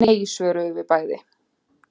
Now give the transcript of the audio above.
Nei, svöruðum við bæði.